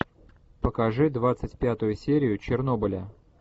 покажи двадцать пятую серию чернобыля